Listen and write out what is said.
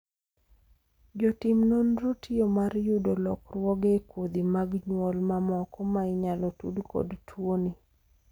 jotim nonro tiyo mar yudo lokruoge e kodhi mag nyuol mamoko ma inyalo tud kod tuoni